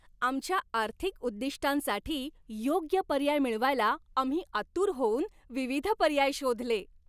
आमच्या आर्थिक उद्दिष्टांसाठी योग्य पर्याय मिळवायला आम्ही आतुर होऊन विविध पर्याय शोधले.